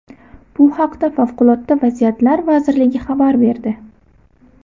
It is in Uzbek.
Bu haqda Favqulodda vaziyatlar vazirligi xabar berdi .